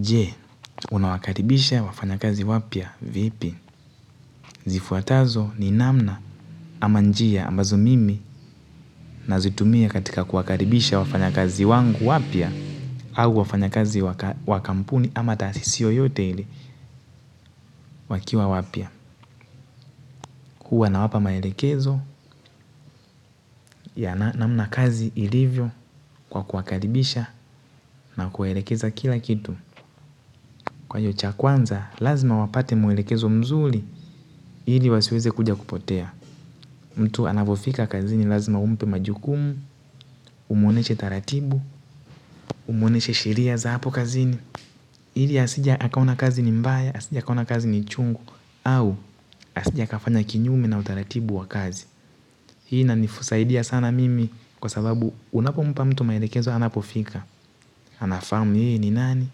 Je, unawakaribisha wafanya kazi wapya vipi? Zifuatazo ni namna ama njia ambazo mimi nazitumia katika kuwakaribisha wafanya kazi wangu wapya au wafanya kazi wakampuni ama tasisi yoyote ile wakiwa wapya. Huwa na wapa maelekezo ya namna kazi ilivyo kwa kuwakaribisha na kuwaelekeza kila kitu. Kwa hiyo, cha kwanza lazima wapate mwelekezo mzuri ili wasiweze kuja kupotea. Mtu anavofika kazini lazima umpe majukumu, umwoneshe taratibu, umwoneshe sheria za hapo kazini. Ili asije akaona kazi ni mbaya, asije akaona kazi ni chungu, au asije akafanya kinyume na utaratibu wa kazi. Hii inanisaidia sana mimi kwa sababu unapo mpa mtu maelekezo anapofika. Anafamu hii ni nani,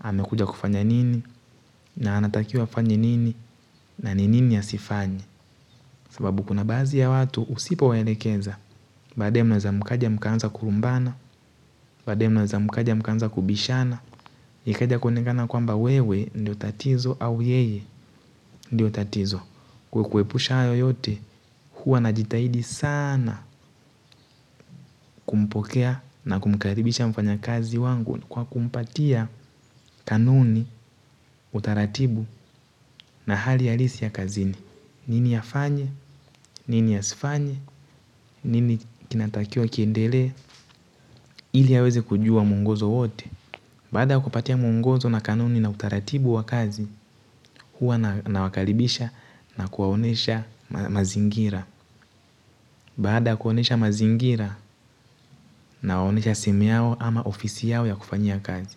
amekuja kufanya nini, na anatakiwa afanye nini, na ni nini ya asifanye. Sababu kuna baadhi ya watu usipowaelekeza baadaye mnaweza mkaja mkanza kurumbana. Baadaye mnaeza mkaja mkaanza kubishana ikaja kuonekana kwamba wewe ndio tatizo au yeye ndio tatizo. Kwa kuepusha hayo yote huwa najitahidi sana kumpokea na kumkaribisha mfanyakazi wangu. Kwa kumpatia kanuni, utaratibu na hali halisi ya kazini. Nini afanye, nini asiifanye, nini kinatakiwa kiendele ili aweze kujua muongozo wote baada ya kupatiwa mungozo na kanuni na utaratibu wa kazi huwa nawakaribisha na kuwaonesha mazingira baada kuonesha mazingira nawaonesha sehemu yao ama ofisi yao ya kufanyia kazi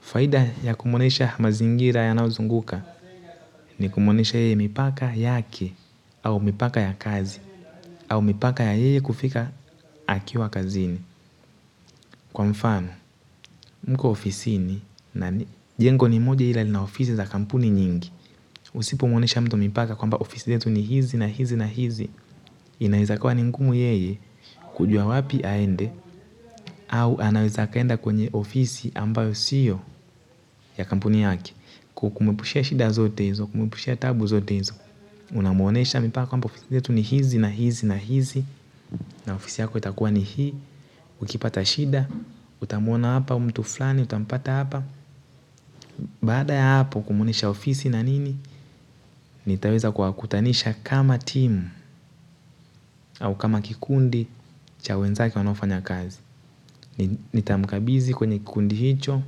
faida ya kumuonesha mazingira yanayozunguka ni kumuonesha yeye mipaka yake au mipaka ya kazi au mipaka ya yeye kufika akiwa kazini kwa mfano mko ofisi ni nani? Jengo ni moja ila lina ofisi za kampuni nyingi. Usipomwonesha mtu mipaka kwamba ofisi letu ni hizi na hizi na hizi. Inaweza kuwa ni ngumu yeye kujua wapi aende au anaweza akaenda kwenye ofisi ambayo siyo ya kampuni yake. Kumuepushia shida zote hizo, kumuepushia taabu zote hizo. Unamwonesha mipaka kwamba ofisi letu ni hizi na hizi na hizi na ofisi yako itakuwa ni hii. Ukipata shida, utamwona hapa mtu fulani, utampata hapa. Baada ya hapo kumwonesha ofisi na nini nitaweza kuwakutanisha kama timu au kama kikundi cha wenzake wanaofanya kazi. Nita mkabidhi kwenye kikundi hicho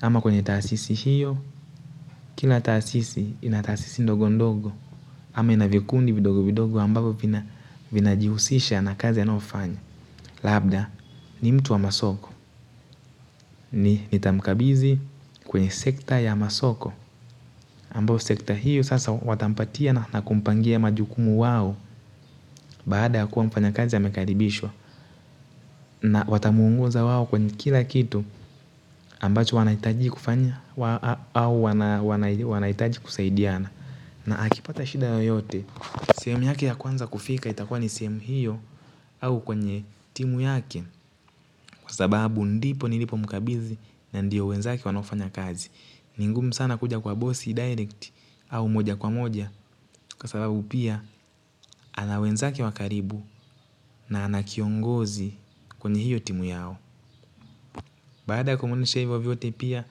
ama kwenye taasisi hiyo. Kila taasisi inataasisi ndogo ndogo ama inavikundi vidogo vidogo ambavyo vina jihusisha na kazi anayofanya. Labda ni mtu wa masoko. Nita mkabidhi kwenye sekta ya masoko ambao sekta hiyo sasa watampatia na kumpangia majukumu wao baada yakuwa mfanyakazi amekaribishwa na watamuongoza wao kwenye kila kitu ambacho wanahitaji kufanya au wanahitaji kusaidiana na akipata shida yoyote sehemu yake ya kwanza kufika itakuwa sehemu hiyo au kwenye timu yake kwa sababu ndipo nilipo mkabidhi na ndiyo wenzake wanaofanya kazi ni ngumu sana kuja kwa bossy direct au moja kwa moja kwa sababu pia ana wenzake wa karibu na ana kiongozi kwenye hiyo timu yao. Badaa kumwonesha hivyo vyote pia.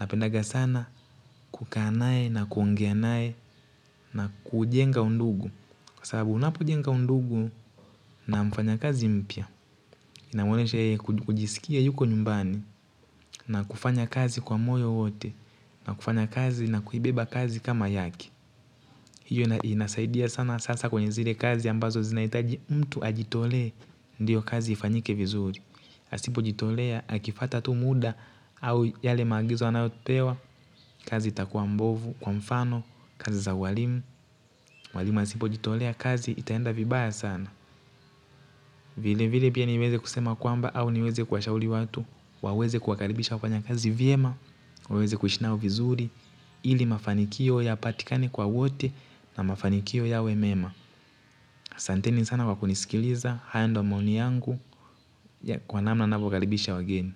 Napendaga sana kukaa naye na kuongea naye na kujenga undugu. Kwa sababu unapojenga undugu na mfanyakazi mpya. Inamwonesha yeye kujisikia yuko nyumbani na kufanya kazi kwa moyo wote na kufanya kazi na kuibeba kazi kama yake. Hiyo inasaidia sana sasa kwenye zile kazi ambazo zinahitaji mtu ajitolee ndio kazi ifanyike vizuri. Asipojitolea, akipata tu muda au yale maagizo anayopewa, kazi itakuwa mbovu kwa mfano, kazi za walimu. Walimu wasipojitolea kazi itaenda vibaya sana. Vile vile pia niweze kusema kwamba au niweze kuwashauri watu. Waweze kuwakaribisha wafanyakazi vyema, waweze kushi nao vizuri. Ili mafanikio yapatikani kwa wote na mafanikio yawe mema aSanteni sana kwa kunisikiliza, haya ndio maoni yangu ya kwa namna ninavyo wakaribisha wageni.